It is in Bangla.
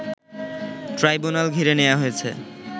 ট্রাইব্যুনাল ঘিরে নেয়া হয়েছে